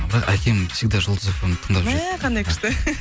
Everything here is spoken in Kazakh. бірақ әкем всегда жұлдыз фмді тыңдап жүреді мә қандай күшті